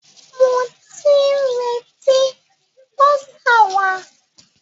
Mo ti ń retí bọ́sà wa.